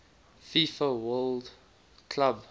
fifa club world